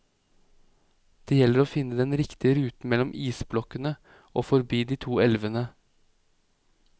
Det gjelder å finne den riktige ruten mellom isblokkene og forbi de to elvene.